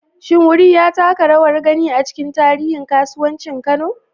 Shin wuri ya taka rawar gani a cikin tarihin kasuwancin Kano?